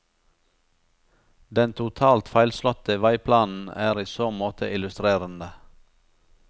Den totalt feilslåtte veiplanen er i så måte illustrerende.